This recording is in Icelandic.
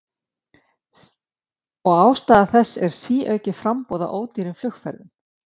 Og ástæða þessa er síaukið framboð á ódýrum flugferðum.